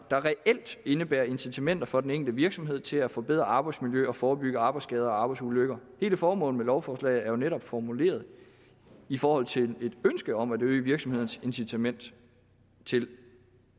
der reelt indebærer incitamenter for den enkelte virksomhed til at forbedre arbejdsmiljø og forebygge arbejdsskader og arbejdsulykker hele formålet med lovforslaget er jo netop formuleret i forhold til et ønske om at øge virksomhedernes incitament til